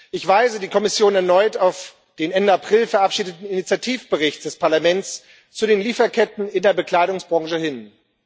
Ich weise die Kommission erneut auf den Ende April verabschiedeten Initiativbericht des Parlaments zu den Lieferketten in der Bekleidungsbranche hin.